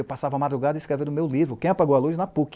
Eu passava a madrugada e escrevia no meu livro, Quem Apagou a Luz, na PUC.